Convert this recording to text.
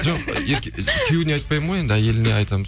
жоқ күйеуіне айтпаймын ғой енді әйеліне айтамын